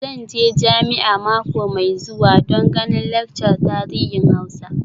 Zan je jami'a mako mai zuwa don ganin laccar tarihin Hausa.